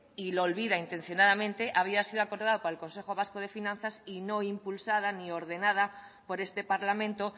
y lo olvidan intencionadamente había sido acordada por el consejo vasco de finanzas y no impulsada ni ordenada por este parlamento